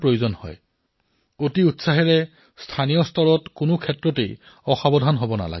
সেয়ে অতি উৎসাহ স্থানীয় পৰ্যায়ত কেতিয়াও অসতৰ্ক হোৱাটো আৱশ্যক নহয়